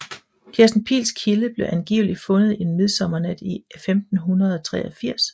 Kirsten Piils Kilde blev angiveligt fundet en midsommernat i 1583